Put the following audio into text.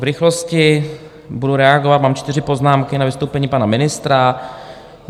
V rychlosti budu reagovat, mám čtyři poznámky, na vystoupení pana ministra.